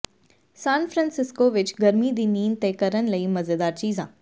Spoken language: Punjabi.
ਸਨ ਫ੍ਰਾਂਸਿਸਕੋ ਵਿੱਚ ਗਰਮੀ ਦੀ ਨੀਂਦ ਤੇ ਕਰਨ ਲਈ ਮਜ਼ੇਦਾਰ ਚੀਜ਼ਾਂ